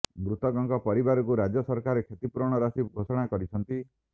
ମୃତକଙ୍କ ପରିବାରକୁ ରାଜ୍ୟ ସରକାର କ୍ଷତିପୂରଣ ରାଶି ଘୋଷଣା କରିଛନ୍ତି